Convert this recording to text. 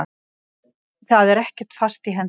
Það er ekkert fast í hendi.